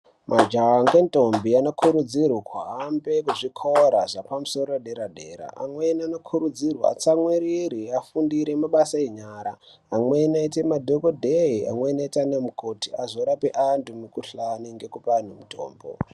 Majaha ngendo anokurudzirwa ahambe zvikora zvepamusoro yedera dera amweni anokurudzirwa atsamwirire afundire mabasa enyara amweni aite madhokodhee, amweni aite anamukhoti azorape antu mukohla nekubaya mitombo.